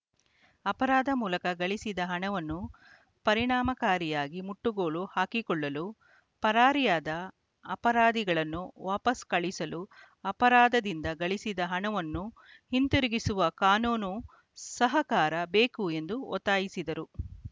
ಅಪರಾಧ ಮೂಲಕ ಗಳಿಸಿದ ಹಣವನ್ನು ಪರಿಣಾಮಕಾರಿಯಾಗಿ ಮುಟ್ಟುಗೋಲು ಹಾಕಿಕೊಳ್ಳಲು ಪರಾರಿಯಾದ ಅಪರಾಧಿಗಳನ್ನು ವಾಪಸ್‌ ಕಳಿಸಲು ಅಪರಾಧದಿಂದ ಗಳಿಸಿದ ಹಣವನ್ನು ಹಿಂತಿರುಗಿಸುವ ಕಾನೂನು ಸಹಕಾರ ಬೇಕು ಎಂದು ಒತ್ತಾಯಿಸಿದರು